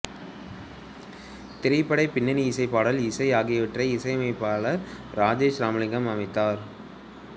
திரைப்பட பின்னணி இசை பாடல் இசை ஆகியவற்றை இசையமைப்பாளர் ராஜேஷ் ராமலிங்கம் அமைத்தார்